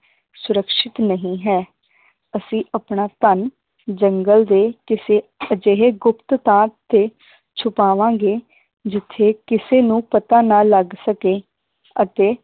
ਸੁਰੱਖਸ਼ਿਤ ਨਹੀ ਹੈ ਅਸੀਂ ਆਪਣਾ ਧਨ ਜੰਗਲ ਦੇ ਕਿਸੇ ਅਜਿਹੇ ਗੁਪਤ ਥਾਂ ਤੇ ਛੁਪਾਵਾਂਗੇ ਜਿਥੇ ਕਿਸੇ ਨੂੰ ਪਤਾ ਨਾ ਲੱਗ ਸਕੇ ਅਤੇ